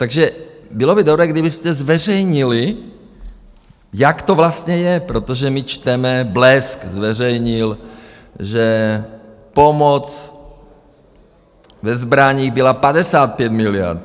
Takže bylo by dobré, kdybyste zveřejnili, jak to vlastně je, protože my čteme - Blesk zveřejnil, že pomoc ve zbraních byla 55 miliard.